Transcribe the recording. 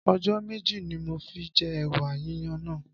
Ọjọ́ méjì ni mo fi jẹ ẹ̀wà yíyan náà.